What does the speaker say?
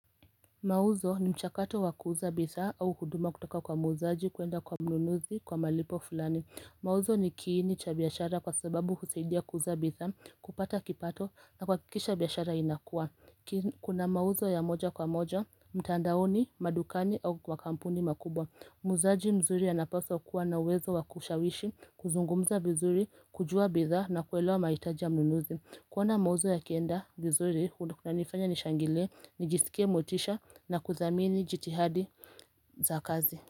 Mauzo ni mchakato wa kuuza bidhaa au huduma kutoka kwa muuzaji kuenda kwa mnunuzi kwa malipo fulani. Mauzo ni kiini cha biashara kwa sababu husaidia kuuza bidhaa kupata kipato na kuhakikisha biashara inakuwa kuna mauzo ya moja kwa moja mtandaoni, madukani au kwa kampuni makubwa muuzaji mzuri anapaswa kuwa na uwezo wa kushawishi, kuzungumza vizuri, kujua bidhaa na kuelewa mahitaji ya mnunuzi. Kuona mauzo yakienda vizuri kunanifanya nishangilie, nijisikie motisha na kuthamini jitihadi za kazi.